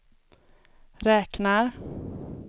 räknar